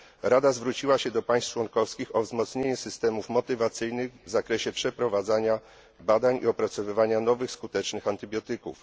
Rada zwróciła się do państw członkowskich o wzmocnienie systemów motywacyjnych w zakresie przeprowadzania badań i opracowywania nowych skutecznych antybiotyków.